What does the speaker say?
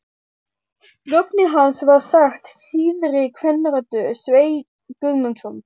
Nafnið hans var sagt þýðri kvenrödd: Sveinn Guðmundsson?